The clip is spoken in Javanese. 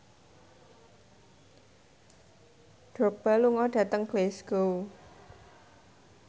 Drogba lunga dhateng Glasgow